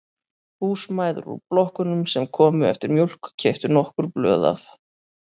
Húsmæður úr blokkunum sem komu eftir mjólk keyptu nokkur blöð af